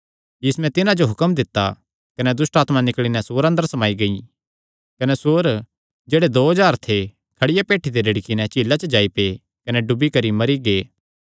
तिन्नी तिन्हां जो हुक्म दित्ता कने दुष्टआत्मां निकल़ी नैं सूअरां अंदर समाई गेई कने सूअर जेह्ड़े दो हज़ार थे खड़िया भेठी ते रिड़की नैं झीला च जाई पेआ कने डुबी करी मरी गेआ